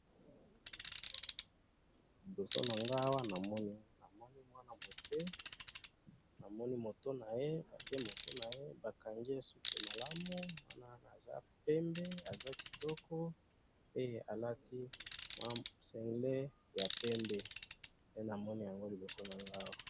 Liboso nanga awa namoni , namoni mwana muke, namoni mutu naye, atye mutu naye, bakangi ye suki malamu, mwana wana aza pembe, aza kitoko, pe alati mwa singlet ya pembe, nde namoni yango liboso nanga awa.